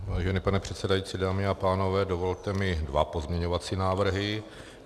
Vážený pane předsedající, dámy a pánové, dovolte mi dva pozměňovací návrhy.